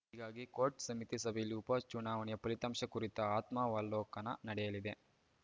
ಹೀಗಾಗಿ core committee ಸಭೆಯಲ್ಲಿ ಉಪಚುನಾವಣೆಯ ಫಲಿತಾಂಶ ಕುರಿತ ಆತ್ಮಾವಲೋಕನ ನಡೆಯಲಿದೆ